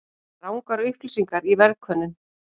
Rangar upplýsingar í verðkönnun